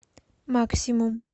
максимум